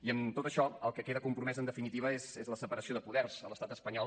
i amb tot això el que queda compromès en definitiva és la separació de poders a l’estat espanyol